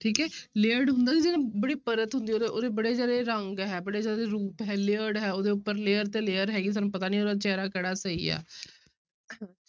ਠੀਕ ਹੈ layered ਹੁੰਦਾ ਜਿਹੜਾ ਬੜੀ ਪਰਤ ਹੁੰਦੀ ਹੈ ਉਹਦੇ ਉਹਦੇ ਬੜੇ ਸਾਰੇ ਰੰਗ ਹੈ, ਬੜੇ ਸਾਰੇ ਰੂਪ ਹੈ layered ਹੈ ਉਹਦੇ ਉੱਪਰ layer ਤੇ layer ਹੈਗੀ ਸਾਨੂੰ ਪਤਾ ਨੀ ਉਹਦਾ ਚਿਹਰਾ ਕਿਹੜਾ ਸਹੀ ਹੈ